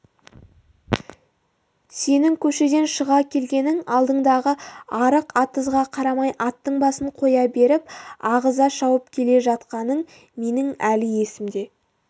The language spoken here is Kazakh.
сенің көшеден шыға келгенің алдыңдағы арық-атызға қарамай аттың басын қоя беріп ағыза шауып келе жатқаның менің әлі есімде